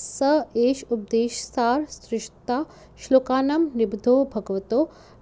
स एष उपदेशसारस्त्रिंशता श्लोकानां निबद्धो भगवतो